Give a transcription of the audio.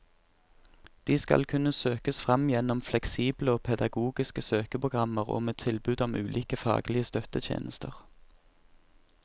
De skal kunne søkes fram gjennom fleksible og pedagogiske søkeprogrammer og med tilbud om ulike faglige støttetjenester.